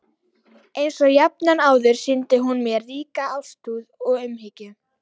Einsog jafnan áður sýndi hún mér ríka ástúð og umhyggju.